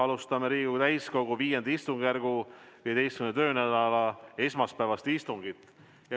Alustame Riigikogu täiskogu V istungjärgu 15. töönädala esmaspäevast istungit.